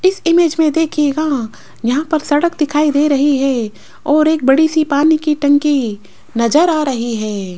इस इमेज में देखिएगा यहां पर सड़क दिखाई दे रही है और एक बड़ी सी पानी की टंकी नजर आ रही है।